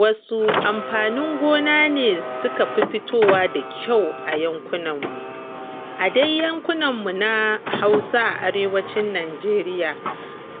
Wasu amfaninin gona ne suka fi fitowa da kyau a yankinmu? A dai yankunan mu na Hausa a arewacin Nijeriya,